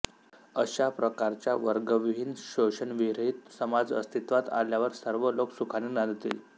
अशा प्रकारच्या वर्गविहीन शोषणविरहित समाज अस्तित्वात आल्यावर सर्व लोक सुखाने नांदतील